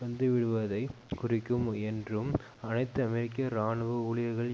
வந்துவிடுவதைக் குறிக்கும் என்றும் அனைத்து அமெரிக்க இராணுவ ஊழியர்கள்